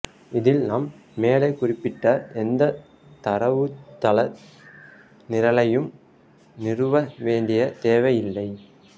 இதில் நாம் மேலே குறிப்பிட்ட எந்த தரவுத்தள நிரலையும் நிறுவ வேண்டிய தேவையில்லை